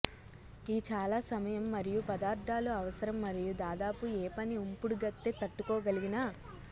ఈ చాలా సమయం మరియు పదార్థాలు అవసరం మరియు దాదాపు ఏ పని ఉంపుడుగత్తె తట్టుకోగలిగిన